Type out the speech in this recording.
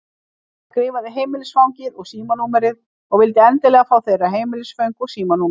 Hann skrifaði heimilisfangið og símanúmerið og vildi endilega fá þeirra heimilisföng og símanúmer.